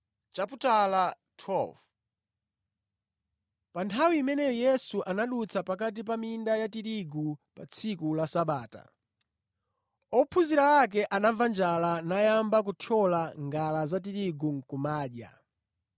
Pa nthawi imeneyo Yesu anadutsa pakati pa minda ya tirigu pa tsiku la Sabata. Ophunzira ake anamva njala nayamba kuthyola ngala za tirigu nʼkumadya.